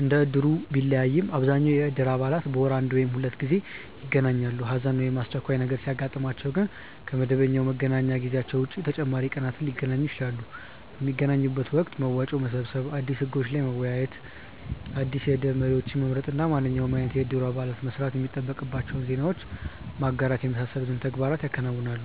እንደ እድሩ ቢለያይም አብዛኛው የእድር አባላት በወር አንድ ወይም ሁለት ጊዜ ይገናኛሉ። ሀዘን ወይም አስቸኳይ ነገር ሲያጥማቸው ግን ከ መደበኛ መገናኛ ጊዜያቸው ውጪ ተጨማሪ ቀናትን ሊገናኙ ይችላሉ። ። በሚገናኙበት ወቅት መዋጮ መሰብሰብ፣ አዲስ ህጎች ላይ መወያየት፣ አዲስ የእድር መሪዎችን መምረጥ እና ማንኛውም አይነት የእድሩ አባላት መስማት የሚጠበቅባቸውን ዜናዎች ማጋራት የመሳሰሉትን ተግባራት ያከናውናሉ።